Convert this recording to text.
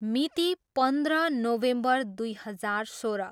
मिति, पन्ध्र नोभेम्बर दुई हजार सोह्र।